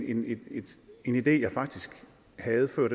en idé jeg faktisk havde fået